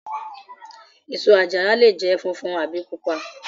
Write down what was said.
Èso àjàrà lè jẹ́ funfun àbí pupa.